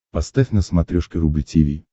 поставь на смотрешке рубль ти ви